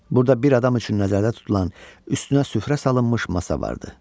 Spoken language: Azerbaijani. Burada bir adam üçün nəzərdə tutulan, üstünə süfrə salınmış masa vardı.